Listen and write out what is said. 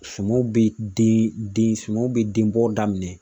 Sumaw be den, sumaw be den bɔ daminɛ